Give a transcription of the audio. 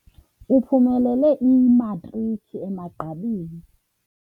Uphumelele imatriki emagqabini.